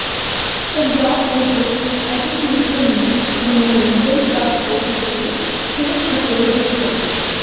Punjab cricket association ਨੂੰ ਮਨੋਰੰਜਨ ਕਰ ਤੋਂ ਦਿੱਤੀ ਛੋਟ ਖਤਰੇ ਵਿਚ ਪਈ